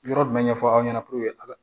Yɔrɔ jumɛn ɲɛfɔ aw ɲɛna puruke